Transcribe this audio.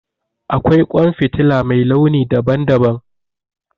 Akwai ƙwan fitila mai launi daban daban